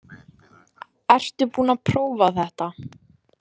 Ertu búin að prófa þetta eða?